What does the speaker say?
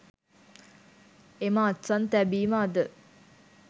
එම අත්සන් තැබීම අද